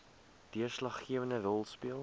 deurslaggewende rol speel